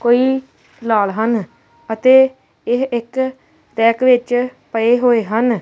ਕੋਈ ਲਾਲ ਹਨ ਅਤੇ ਇਹ ਇੱਕ ਰੈਕ ਵਿੱਚ ਪਏ ਹੋਏ ਹਨ।